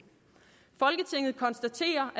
folketinget konstaterer